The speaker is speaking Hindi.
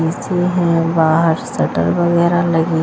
देखते हैं बाहर शटर वगैरह लगे--